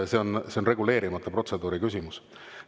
See on reguleerimata protseduuri küsimus.